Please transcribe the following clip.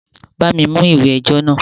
Bá mi mú ìwé ẹjọ́ náà!